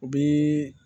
U bi